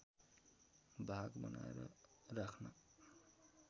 भाग बनाएर राख्न